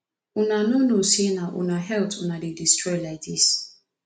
una no know say na una health una dey destroy like dis